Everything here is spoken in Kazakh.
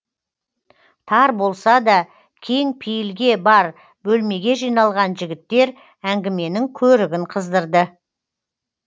тар болса да кең пейілге бар бөлмеге жиналған жігіттер әңгіменің көрігін қыздырды